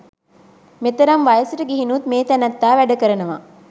මෙතරම් වයසට ගිහිනුත් මේ තැනැත්තා වැඩ කරනවා.